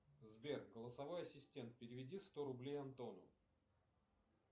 сбер голосовой ассистент переведи сто рублей антону